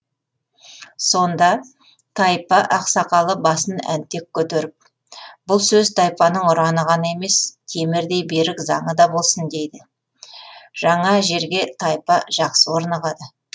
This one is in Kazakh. сонда тайпа ақсақалы басын әнтек көтеріп бұл сөз тайпаның ұраны ғана емес темірдей берік заңы да болсын дейді жаңа жерге тайпа жақсы орнығады